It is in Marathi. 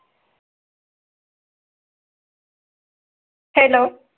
hello